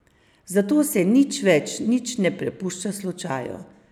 Zato se nič več nič ne prepušča slučaju.